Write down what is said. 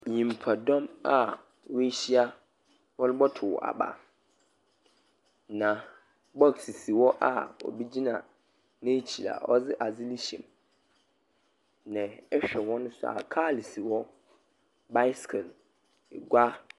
Nnipa dɔm a woahyia wɔrebɛtow aba. Na bɔks si hɔ a obi gyina n'akyi a ɔde ade hyɛ. Na ɛhwɛ hɔ nsoa, kaa si hɔ. Baesekel egua.